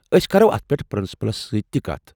أسۍ كرو اتھ پٮ۪ٹھ پرنسپلس سۭتۍ تہِ کتھ۔